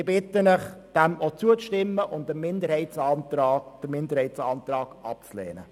Ich bitte Sie, diesem zuzustimmen und den Minderheitsantrag abzulehnen.